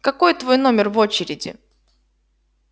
какой твой номер в очереди